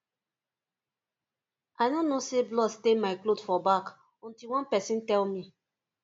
i no know say blood stain my cloth for back until one person tell me